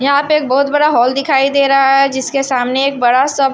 यहां पे एक बहुत बड़ा हॉल दिखाई दे रहा है जिसके सामने एक बड़ा सा--